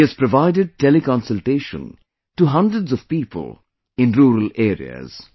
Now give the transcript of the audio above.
He has provided teleconsultation to hundreds of people in rural areas